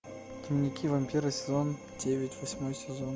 дневники вампира сезон девять восьмой сезон